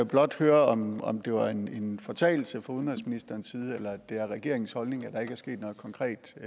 blot høre om om det var en fortalelse fra udenrigsministerens side eller om det er regeringens holdning at der ikke er sket noget konkret i